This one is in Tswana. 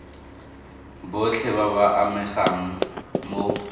botlhe ba ba amegang mo